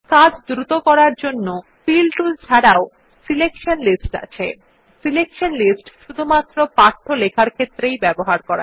কাজ দ্রুত করার জন্য ফিল টুল ছাড়াও সিলেকশন লিস্টস আছে এটি শুধুমাত্র পাঠ্য লেখার ক্ষেত্রেই ব্যবহার্য